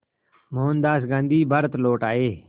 मोहनदास गांधी भारत लौट आए